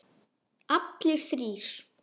Allir þrír?